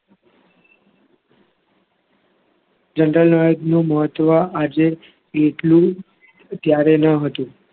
general knowledge નું મહત્વ આજે એટલું ત્યારે ન હતું.